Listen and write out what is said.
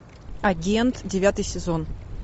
агент девятый сезон